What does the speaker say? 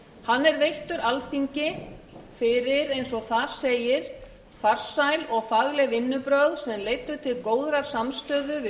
hann er veittur alþingi fyrir eins og þar segir farsæl og fagleg vinnubrögð sem leiddu til góðrar samstöðu við